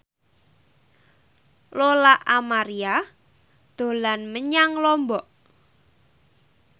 Lola Amaria dolan menyang Lombok